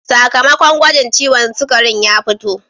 Sakamakon gwagin ciwon sugarin ya fito.